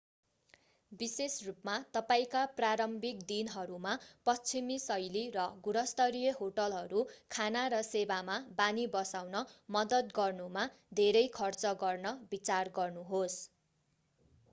विशेष रूपमा तपाईंका प्रारम्भिक दिनहरूमा पश्चिमी-शैली र गुणस्तरीय होटलहरू खाना र सेवामा बानी बसाउन मद्दत गर्नुमा धेरै खर्च गर्न विचार गर्नुहोस्